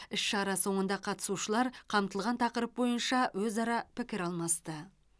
іс шара соңында қатысушылар қамтылған тақырып бойынша өзара пікір алмасты